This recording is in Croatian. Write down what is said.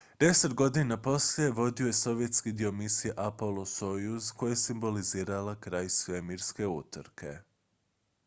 deset godina poslije vodio je sovjetski dio misije apollo-soyuz koja je simbolizirala kraj svemirske utrke